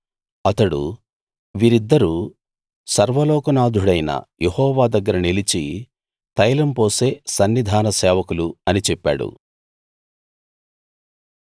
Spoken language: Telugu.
అతడు వీరిద్దరూ సర్వలోకనాధుడైన యెహోవా దగ్గర నిలిచి తైలం పోసే సన్నిధాన సేవకులు అని చెప్పాడు